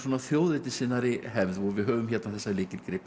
þjóðernissinnaðri hefð og við höfum hérna þessa